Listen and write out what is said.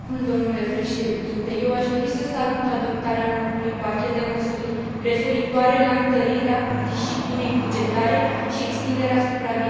Eu aș dori să salut adoptarea noului pachet de măsuri referitoare la întărirea disciplinei bugetare și extinderea supravegherii economice.